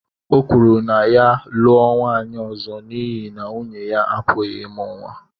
O kwuru na ya lụọ nwaanyị ọzọ n’ihi na nwunye ya apụghị ịmụ nwa.